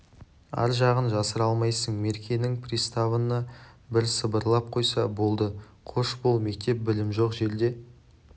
ар жағын жасыра алмайсың меркенің приставына бір сыбырлап қойса болды қош бол мектеп білім жоқ жерде